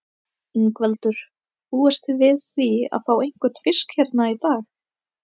Ingveldur: Búist þið við því að fá einhvern fisk hérna í dag?